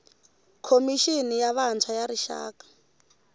khomixini ya vantshwa ya rixaka